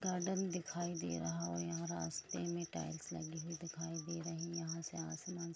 garden दिखया दे रहा है यहाँ रस्ते में टाईल्स लगी दिखाय दे रही है यहाँ से असमना --